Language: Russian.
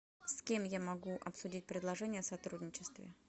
с кем я могу обсудить предложение о сотрудничестве